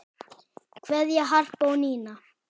Kveðja, Harpa og Nína.